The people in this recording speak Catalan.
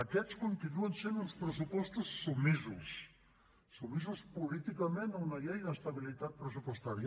aquests continuen sent uns pressupostos submisos sotmesos políticament a una llei d’estabilitat pressupostària